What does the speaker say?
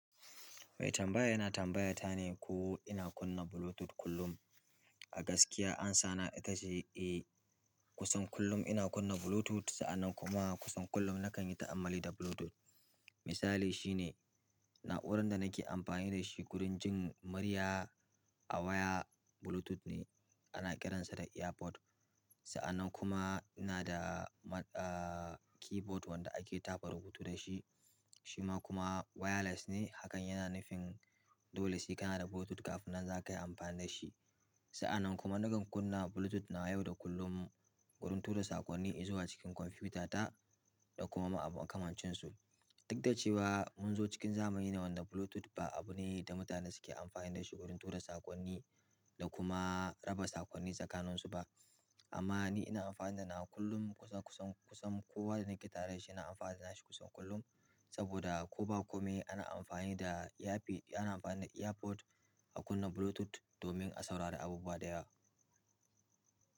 Mai tambaya yana tambayata ne ko ina kunna Bluetooth kullum. A gaskiya amsana ita ce eh, kusan kullum ina kunna Bluetooth, sa'an nan kuma kusan kullum nakan yi ta'ammali da Bluetooth. Misali shine na'urar da nake amfani da shi wurin jin murya a waya Bluetooth ne ana kiransa da EarPod. Sa'an nan kuma ina da, ah, keyboard wanda ake tafa rubutu da shi, shi ma kuma wireless ne. Hakan yana nufin dole sai kana da Bluetooth kafin nan za ka yi amfani da shi. Sa'an nan kuma nakan kunna Bluetooth nawa yau da kullum wurin tura saƙonni zuwa cikin kwamfutata da kuma ma abu makamancin su. Duk da cewa mun zo cikin zamani ne wanda Bluetooth ba abu ne wanda mutane suke amfani dashi wurin tura saƙonni da kuma raba saƙonni tsakaninsu ba. Amma ni ina amfani da nawa kullum kusan, kusan, kusan kowa da nake taredashi yana amfani da nashi kusan kullum. Saboda ko ba kome ana amfani da Earp-- ana amfani da EarPod a kunna Bluetooth domin a saurari abubuwa da yawa.